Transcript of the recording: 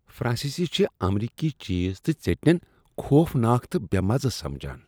فرانسیسی چھ امریکی چیز تہٕ ژیٚٹنٮ۪ن خوفناک تہٕ بےٚ مزٕ سمجان۔